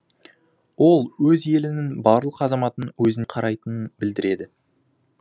ол өз елінің барлық азаматын өзін қарайтынын білдіреді